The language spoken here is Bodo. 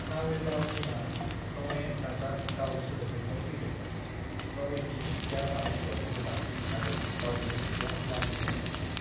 "नावेगाव मुङा नवे + गाव सोदोबनिफ्राय फैदों, नवेनि ओंथिया मराठीआव गोदान आरो गावनि ओंथिया गामि जायो।"